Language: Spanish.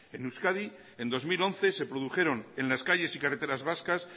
en euskadi en dos mil once se produjeron en las calles y carreteras vascas